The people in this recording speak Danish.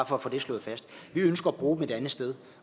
for at få det slået fast vi ønsker at bruge dem et andet sted